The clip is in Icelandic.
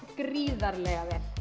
gríðarlega vel